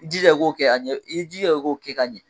I jija i k'o kɛ a ɲɛ i jija i k'o kɛ k'a ɲɛ.